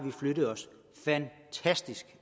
flyttet os fantastisk